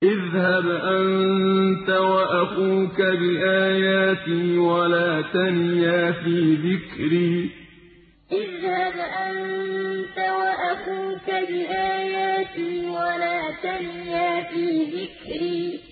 اذْهَبْ أَنتَ وَأَخُوكَ بِآيَاتِي وَلَا تَنِيَا فِي ذِكْرِي اذْهَبْ أَنتَ وَأَخُوكَ بِآيَاتِي وَلَا تَنِيَا فِي ذِكْرِي